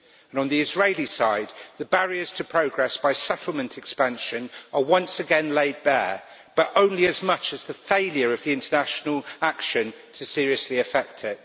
On the Israeli side, the barriers to progress by settlement expansion are once again laid bare, but only as much as the failure of the international action to seriously affect it.